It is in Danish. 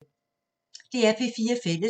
DR P4 Fælles